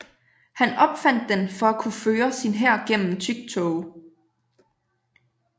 Han opfandt den for at kunne føre sin hær gennem tyk tåge